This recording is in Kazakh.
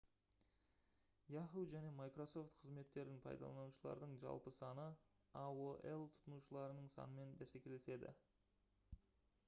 yahoo және microsoft қызметтерін пайдаланушылардың жалпы саны aol тұтынушыларының санымен бәсекелеседі